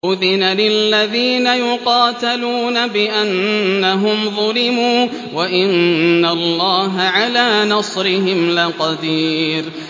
أُذِنَ لِلَّذِينَ يُقَاتَلُونَ بِأَنَّهُمْ ظُلِمُوا ۚ وَإِنَّ اللَّهَ عَلَىٰ نَصْرِهِمْ لَقَدِيرٌ